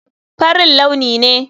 Farin launi ne.